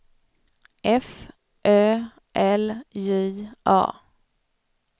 F Ö L J A